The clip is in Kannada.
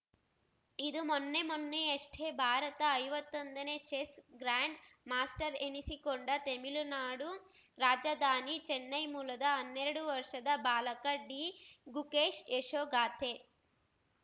ಇದು ಮೊನ್ನೆ ಮೊನ್ನೆಯಷ್ಟೇ ಭಾರತ ಐವತ್ತೊಂದನೇ ಚೆಸ್‌ ಗ್ರ್ಯಾಂಡ್‌ ಮಾಸ್ಟರ್ ಎನಿಸಿಕೊಂಡ ತೆಮಿಳುನಾಡು ರಾಜಧಾನಿ ಚೆನ್ನೈ ಮೂಲದ ಹನ್ನೆರಡು ವರ್ಷದ ಬಾಲಕ ಡಿಗುಕೇಶ್‌ ಯಶೋಗಾಥೆ